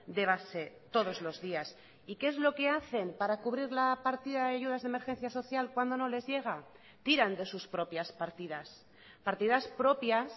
de base todos los días y qué es lo que hacen para cubrir la partida de ayudas de emergencia social cuando no les llega tiran de sus propias partidas partidas propias